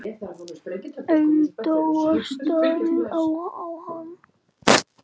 Agndofa stari ég á hana.